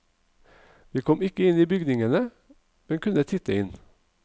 Vi kom ikke inn i bygningene, men kunne titte inn.